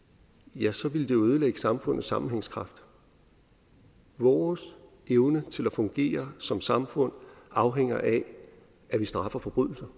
ja så ville det ødelægge samfundets sammenhængskraft vores evne til at fungere som samfund afhænger af at vi straffer forbrydelser